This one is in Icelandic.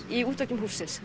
í